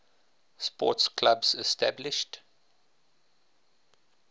sports clubs established